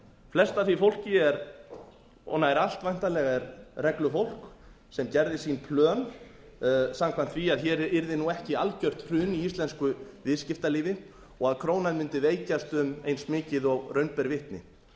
flest af því fólki og nær allt væntanlega er reglufólk sem gerði sín plön samkvæmt því að hér yrði ekki algjört hrun í íslensku viðskiptalífi og að krónan mundi veikjast um eins mikið og raun ber vitni